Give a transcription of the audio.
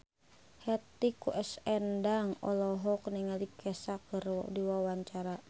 Hetty Koes Endang olohok ningali Kesha keur diwawancara